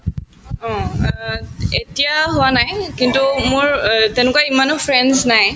অ, এতিয়াও হোৱা নাই কিন্তু মোৰ অ তেনেকুৱা ইমানো friends নাই